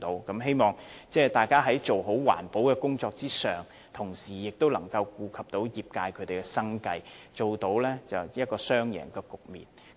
我希望在做好環保的工作上，當局可以同時顧及業界的生計，達致雙贏的局面。